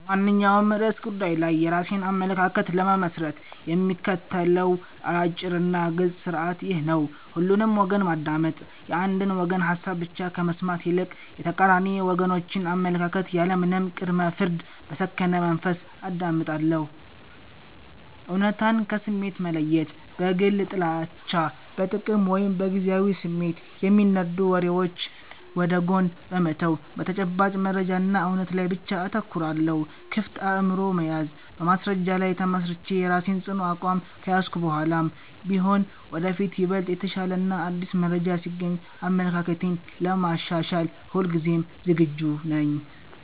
በማንኛውም ርዕሰ ጉዳይ ላይ የራሴን አመለካከት ለመመስረት የምከተለው አጭርና ግልጽ ሥርዓት ይህ ነው፦ ሁሉንም ወገን ማዳመጥ፦ የአንድን ወገን ሐሳብ ብቻ ከመስማት ይልቅ፣ የተቃራኒ ወገኖችን አመለካከት ያለምንም ቅድመ-ፍርድ በሰከነ መንፈስ አዳምጣለሁ። እውነታን ከስሜት መለየት፦ በግል ጥላቻ፣ በጥቅም ወይም በጊዜያዊ ስሜት የሚነዱ ወሬዎችን ወደ ጎን በመተው፣ በተጨባጭ መረጃና እውነት ላይ ብቻ አተኩራለሁ። ክፍት አእምሮ መያዝ፦ በማስረጃ ላይ ተመስርቼ የራሴን ጽኑ አቋም ከያዝኩ በኋላም ቢሆን፣ ወደፊት ይበልጥ የተሻለና አዲስ መረጃ ሲገኝ አመለካክቴን ለማሻሻል ሁልጊዜም ዝግጁ ነኝ።